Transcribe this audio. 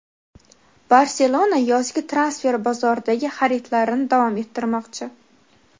Barselona yozgi transfer bozoridagi xaridlarini davom ettirmoqchi.